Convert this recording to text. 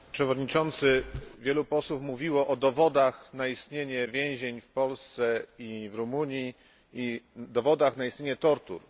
Panie Przewodniczący! Wielu posłów mówiło o dowodach na istnienie więzień w Polsce i w Rumunii i o dowodach na istnienie tortur.